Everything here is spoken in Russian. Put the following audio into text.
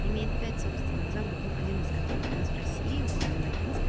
иметь пять собственных заводов один из которых у нас в россии в городе ногинск